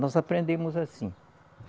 Nós aprendemos assim.